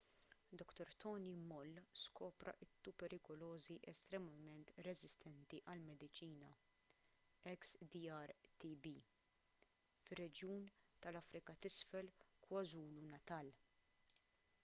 dr tony moll skopra t-tuberkulożi estremament reżistenti għall-mediċina xdr-tb fir-reġjun tal-afrika t’isfel kwazulu-natal